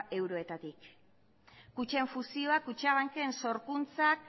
euroetatik kutxen fusioak kutxabanken sorkuntzak